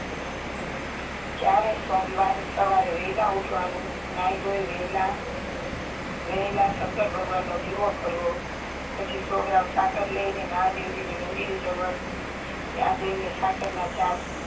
ચારેય સોમવાર સવારે વેહલા ઉઠવાનું નાહી ધોઈ વેહલા વેહલા શંકર ભગવાનનો દીવો કરવો પછી સો ગ્રામ સાકર લઇને મહાદેવજી ના મંદિર જવાનું ત્યાં જય ને સાકારના ચાર